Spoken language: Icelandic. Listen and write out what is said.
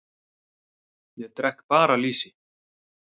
Ég drekk bara lýsi!